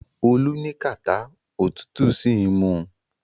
Olú ní kàtá òtútù sì ń mu.